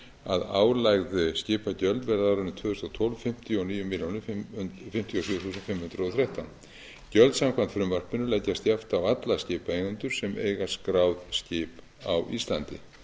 að álögð skipagjöld verði á árinu tvö þúsund og tólf fimmtíu og níu milljónir fimmtíu og sjö þúsund fimm hundruð og þrettán gjöld samkvæmt frumvarpinu leggjast jafnt á alla skipaeigendur sem eiga skráð skip á íslandi